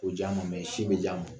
O ja ma sin bɛ j'a ma